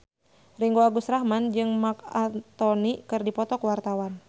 Ringgo Agus Rahman jeung Marc Anthony keur dipoto ku wartawan